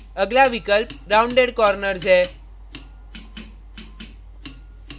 अगला विकल्प rounded corners है